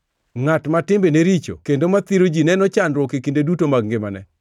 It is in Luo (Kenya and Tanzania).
Ngʼat ma timbene richo kendo mathiro ji neno chandruok e kinde duto mag ngimane.